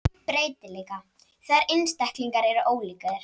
Breytileika, það er einstaklingar eru ólíkir.